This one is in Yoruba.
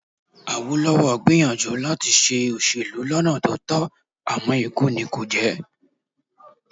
Awólọ́wọ̀ gbìyànjú láti ṣe òṣèlú lọ́nà tó tọ́ àmọ́ ikú nì kò jẹ́